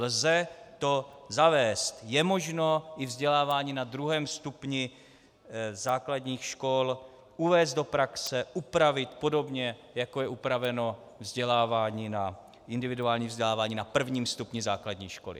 Lze to zavést, je možno i vzdělávání na 2. stupni základních škol uvést do praxe, upravit podobně, jako je upraveno individuální vzdělávání na 1. stupni základních škol.